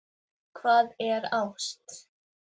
Hvað er ást